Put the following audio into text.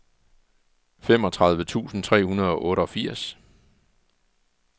femogtredive tusind tre hundrede og otteogfirs